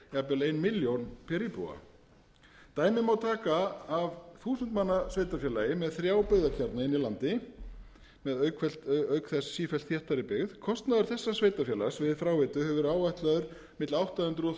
ein milljón per íbúa dæmi má taka af þúsund manna sveitarfélagi með þrjá byggðakjarna inni í landi með auk þess sífellt þéttari byggð kostnaður þessa sveitarfélags við fráveitu hefur verið áætlaður milli átta hundruð og